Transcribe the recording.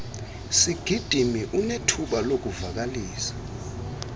sigidimi unethuba lokuvakalisa